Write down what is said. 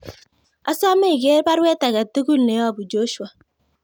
Asame iger baruet age tugul neyobu Joshua